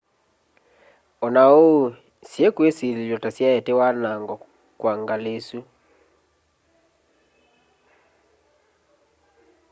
ona oou syiikwisililw'a ta syaete wanango kwa ngali isu